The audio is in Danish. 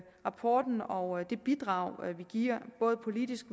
rapporten og det bidrag vi giver både politisk